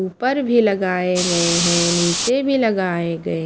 ऊपर भी लगाए गए है नीचे भी लगाए गए--